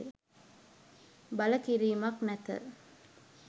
බල කිරීමක් නැත.